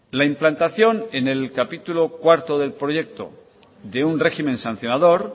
la implantación en el capítulo cuarto del proyecto de un régimen sancionador